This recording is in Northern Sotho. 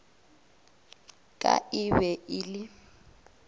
ka e be e le